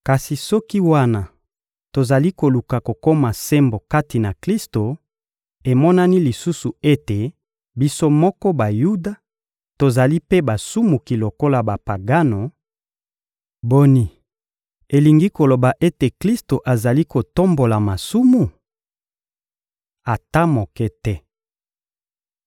Kasi soki, wana tozali koluka kokoma sembo kati na Klisto, emonani lisusu ete biso moko Bayuda tozali mpe basumuki lokola Bapagano, boni, elingi koloba ete Klisto azali kotombola masumu? Ata moke te!